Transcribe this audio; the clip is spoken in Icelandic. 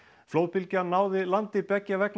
flóðbylgjan náði landi beggja vegna